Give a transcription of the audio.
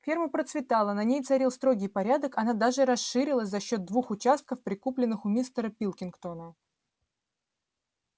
ферма процветала на ней царил строгий порядок она даже расширилась за счёт двух участков прикупленных у мистера пилкингтона